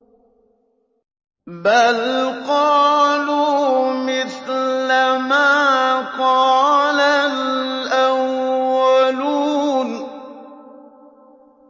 بَلْ قَالُوا مِثْلَ مَا قَالَ الْأَوَّلُونَ